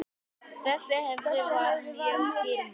Þessi hefð var mjög dýrmæt.